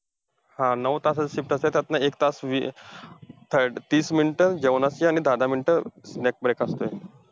हा नऊ तासाची shift असते. त्यातून एक तास वी~ तीस minute जेवणाची आणि दहा दहा minute